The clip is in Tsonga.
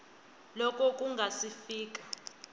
loko ku nga si fika